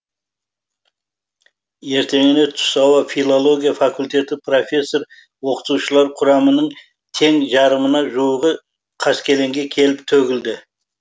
ертеңіне түс ауа филология факультеті профессор оқытушылар құрамының тең жарымына жуығы қаскелеңге келіп төгілді